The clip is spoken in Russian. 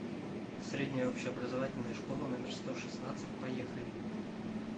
средняя общеобразовательная школа номер сто шестнадцать поехали